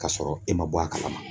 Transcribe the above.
K'a sɔrɔ e ma bɔ a kalama.